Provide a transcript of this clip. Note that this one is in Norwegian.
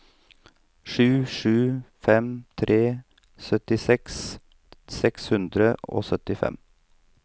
sju sju fem tre syttiseks seks hundre og syttifem